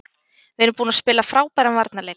Við erum búin að spila frábæran varnarleik.